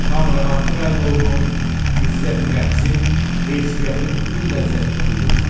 Tam rahatlıq əldə olunur, izzəti nəfsin, heysiyyatın bütün ləzzətini duyursan.